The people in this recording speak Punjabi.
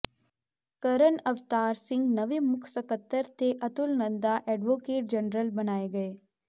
ਕਰਨ ਅਵਤਾਰ ਸਿੰਘ ਨਵੇਂ ਮੁੱਖ ਸਕੱਤਰ ਤੇ ਅਤੁੱਲ ਨੰਦਾ ਐਡਵੋਕੇਟ ਜਨਰਲ ਬਣਾਏ ਗਏ